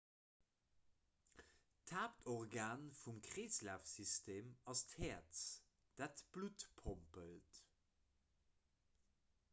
d'haaptorgan vum kreeslafsystem ass d'häerz dat d'blutt pompelt